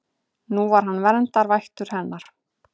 Nú var hann verndarvættur hennar.